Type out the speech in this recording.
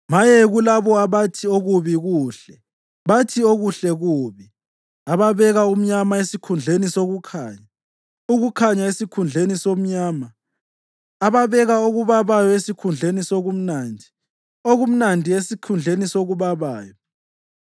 Maye kulabo abathi okubi kuhle bathi okuhle kubi, ababeka umnyama esikhundleni sokukhanya; ukukhanya esikhundleni somnyama; ababeka okubabayo esikhundleni sokumnandi, okumnandi esikhundleni sokubabayo.